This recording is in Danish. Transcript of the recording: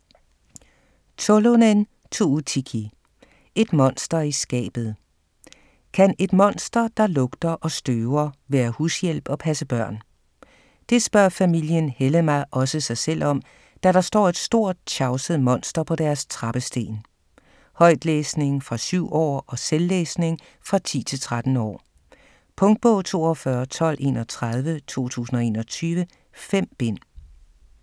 Tolonen, Tuutikki: Et monster i skabet Kan et monster, der lugter og støver, være hushjælp og passe børn? Det spørger familien Hellemaa også sig selv om, da der står et stort, tjavset monster på deres trappesten. Højtlæsning fra 7 år og selvlæsning fra 10-13 år. Punktbog 421231 2021. 5 bind.